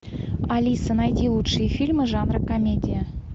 алиса найди лучшие фильмы жанра комедия